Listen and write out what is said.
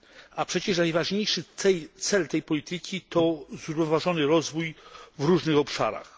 A przecież najważniejszy cel tej polityki to zrównoważony rozwój w różnych obszarach.